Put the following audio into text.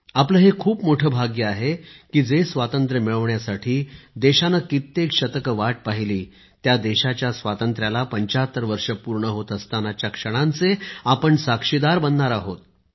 आपले हे खूप मोठे भाग्य आहे की जे स्वातंत्र्य मिळवण्यासाठी देशाने कित्येक शतके वाट पहिली त्या देशाच्या स्वातंत्र्याला 75 वर्षे पूर्ण होत असतांनाच्या क्षणांचे आपण साक्षीदार बनणार आहोत